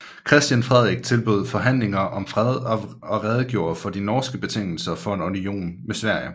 Christian Frederik tilbød forhandlinger om fred og redegjorde for de norske betingelser for en union med Sverige